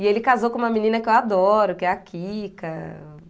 E ele casou com uma menina que eu adoro, que é a Kika.